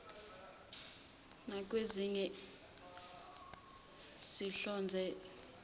nakwezinye sihlonza ubuthaka